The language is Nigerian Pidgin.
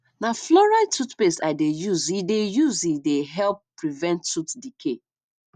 na fluoride toothpaste i dey use e dey use e dey help prevent tooth decay